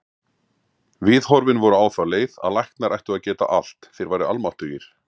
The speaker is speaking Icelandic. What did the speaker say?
Viðhorfin voru á þá leið að læknar ættu að geta allt, þeir væru almáttugir.